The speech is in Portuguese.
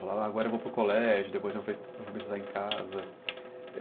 Falar, agora eu vou para o colégio, depois eu vou em casa.